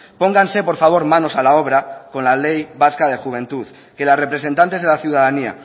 pónganse por favor manos a la obra con la ley vasca de la juventud que los representantes de la ciudadanía